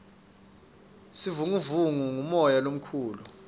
sivunguvungu ngumoya lomukhulu